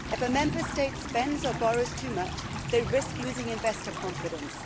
If a Member State spends or borrows too much, it risks losing investor confidence.